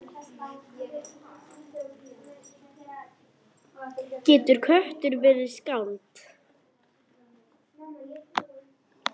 Getur köttur verið skáld?